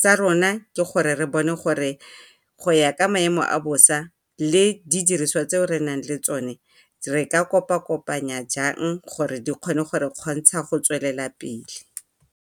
Sa rona ke gore re bone gore go ya ka maemo a bosa le di diriswa tse re nang le tsone re ka kopa-kopanya jang gore di kgone go re kgontsha go tswelela pele.